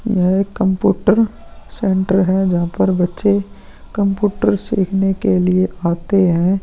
यह computer center है। जहां पर बच्चे कम्पुटर सीखने के लिए आते हैं।